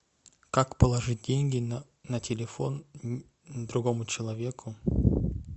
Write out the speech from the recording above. как положить деньги на телефон другому человеку